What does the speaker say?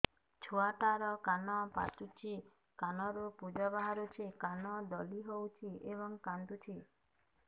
ଛୁଆ ଟା ର କାନ ପାଚୁଛି କାନରୁ ପୂଜ ବାହାରୁଛି କାନ ଦଳି ହେଉଛି ଏବଂ କାନ୍ଦୁଚି